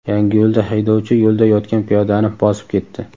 Yangiyo‘lda haydovchi yo‘lda yotgan piyodani bosib ketdi.